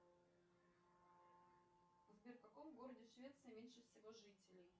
сбер в каком городе швеции меньше всего жителей